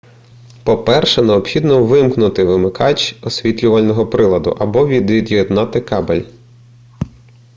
по-перше необхідно вимкнути вимикач освітлювального приладу або від'єднати кабель